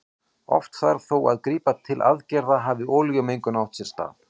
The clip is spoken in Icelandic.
Oft þarf þó að grípa til aðgerða hafi olíumengun átt sér stað.